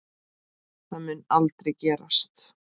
Það mun aldrei gerast.